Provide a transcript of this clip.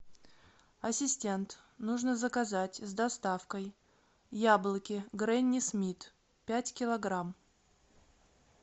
ассистент нужно заказать с доставкой яблоки гренни смит пять килограмм